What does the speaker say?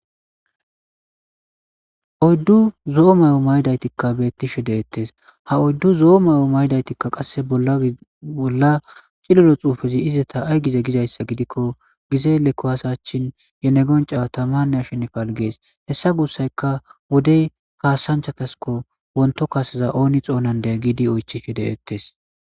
oddu zo7o may7o maydaytikka beettishe de ettes ha oddu zo7o may7o maydaytikka qasse bolla cilolo xuufezi izeta ay gize gizayssa gidikko gizeele ko hasachin yenegonca taman nashin falgees hessa guussayka wodey kaasanchatasko wonto kaseza ooni xoonandeya giidi oychi she de ettes